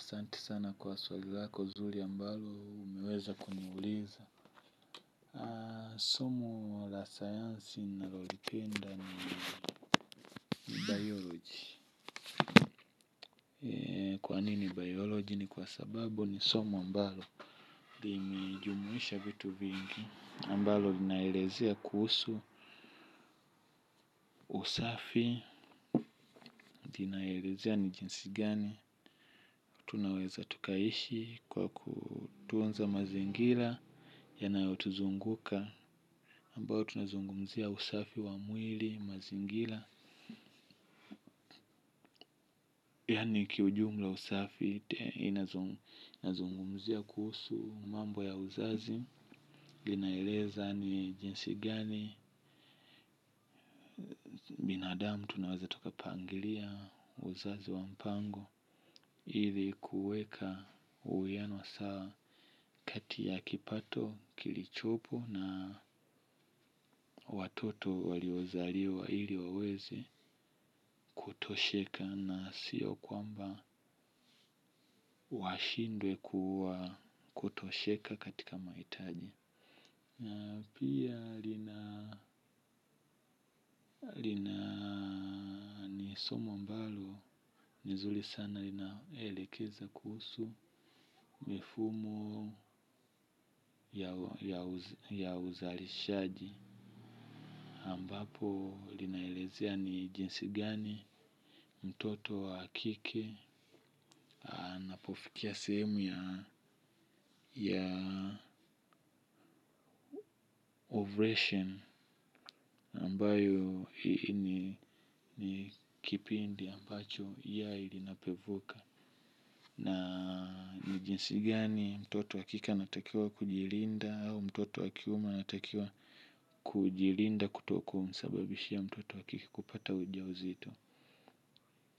Santi sana kwa swali lako zuri ambalo umeweza kuniuliza. Somo la sayansi ninalolipenda ni biology. Kwa nini biology ni kwa sababu ni somo ambalo. Limejumuisha vitu vingi. Ambalo linaelezea kuhusu usafi. Linaelezea ni jinsi gani. Tunaweza tukaishi kwa kutunza mazingira. Yanayo tuzunguka ambao tunazungumzia usafi wa mwili mazingila yani kiujumla usafi inazungumzia kuhusu mambo ya uzazi linaeleza ni jinsi gani binadamu tunawaza tukapangilia uzazi wa mpango hili kuweka uwiano sawa kati ya kipato kilichopo na watoto waliozaliwa ili waweze kutosheka na sio kwamba washindwe kuwa kutosheka katika maitaji pia lina lina nisomo ambalo ni zuli sana linaelekeza kuhusu mifumo ya uzalishaji ambapo linaelezea ni jinsi gani mtoto wa kike anapofikia sehemu ya ovration ambayo ni kipindi ambacho yai linapevuka. Na ni jinsi gani mtoto wa kike anatakiwa kujilinda au mtoto wa kiume anatakiwa kujilinda kutokumsababishia mtoto wa kike kupata uja uzito.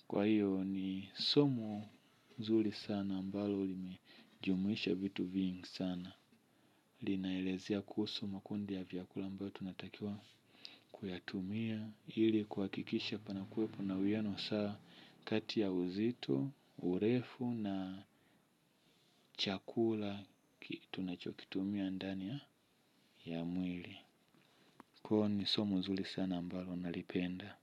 Kwa hiyo ni somo nzuri sana ambalo limejumuisha vitu vingi sana. Linaelezea kuhusu makundi ya vyakula ambayo tunatakiwa kuyatumia ili kuakikisha panakuwepo na uwiano sawa kati ya uzito, urefu na chakula tunachokitumia ndania ya mwili ko ni somo nzuli sana ambalo nalipenda.